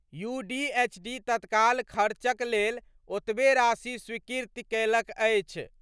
UDHD तत्काल खर्चक लेल ओतबे राशि स्वीकृत कयलक अछि।